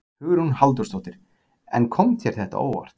Hugrún Halldórsdóttir: En kom þér þetta á óvart?